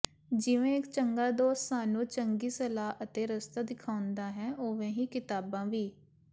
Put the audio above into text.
ਜਿਵੇਂ ਇਕ ਚੰਗਾ ਦੋਸਤ ਸਾਨੂੰ ਚੰਗੀ ਸਲਾਹ ਅਤੇ ਰਸਤਾ ਦਿਖਾਉਂਦਾ ਹੈ ਉਵੇਂ ਹੀ ਕਿਤਾਬਾਂ ਵੀ